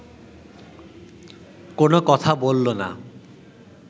কোনো কথা বলল না